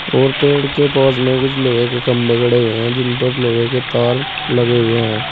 और पेड़ के पास में कुछ लोहे के खंभे गड़े हुए हैं जिन पर लोहे के तार लगे हुए हैं।